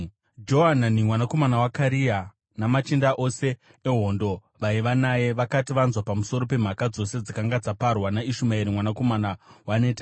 Johanani mwanakomana waKarea namachinda ose ehondo vaiva naye vakati vanzwa pamusoro pemhaka dzose dzakanga dzaparwa naIshumaeri mwanakomana waNetania,